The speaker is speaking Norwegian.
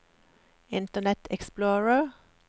internet explorer